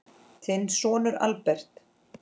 Þinn sonur, Albert.